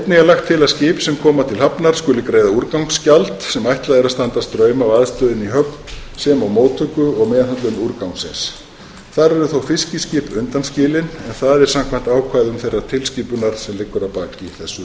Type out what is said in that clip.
að skip sem koma til hafnar skuli greiða úrgangsgjald sem ætlað er að standa straum af aðstöðunni í höfn sem og móttöku og meðhöndlun úrgangsins þar eru þó fiskiskip undanskilin samkvæmt ákvæðum þeirrar tilskipunar sem liggur að baki þessu